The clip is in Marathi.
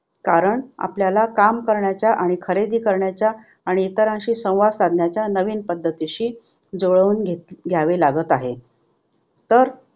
कारण आपल्याला काम करण्याचा आणि खरेदी करण्याच्या आणि इतरांशी संवाद साधण्याच्या नवीन पद्धतीशी जुळवून घे घ्यावे लागत आहे. तर